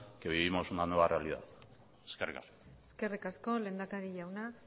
que vivimos una nueva realidad eskerrik asko eskerrik asko lehendakari jauna